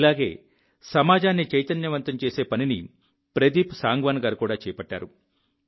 ఇలాగే సమాజాన్ని చైతన్యవంతం చేసే పనిని ప్రదీప్ సాంగ్వాన్ గారు కూడా చేపట్టారు